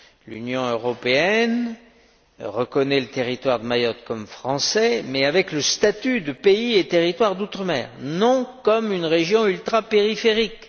L'Union européenne reconnaît le territoire de Mayotte comme français mais avec le statut de pays et territoire d'outre mer, non comme une région ultrapériphérique.